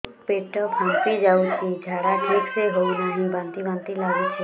ପେଟ ଫାମ୍ପି ଯାଉଛି ଝାଡା ଠିକ ସେ ହଉନାହିଁ ବାନ୍ତି ବାନ୍ତି ଲଗୁଛି